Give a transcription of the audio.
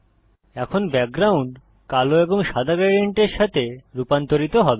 এখন ব্যাকগ্রাউন্ড কালো এবং সাদা গ্রেডিয়েন্টের সাথে রুপান্তরিত হবে